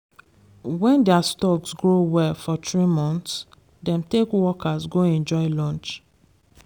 when their stocks grow well for three months dem take workers go enjoy lunch